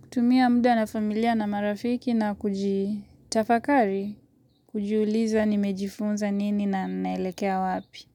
Kutumia muda na familia na marafiki na kujitafakari kujiuliza nimejifunza nini na naelekea wapi.